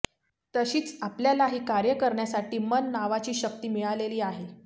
तशीच आपल्यालाही कार्य करण्यासाठी मन नावाची शक्ती मिळालेली आहे